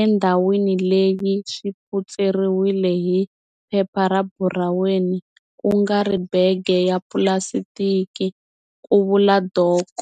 endhawini leyi swi phutseriwile hi phepha ra buraweni ku nga ri bege ya pulasitiki, ku vula Dok.